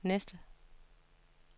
næste